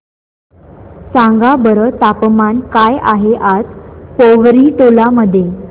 सांगा बरं तापमान काय आहे आज पोवरी टोला मध्ये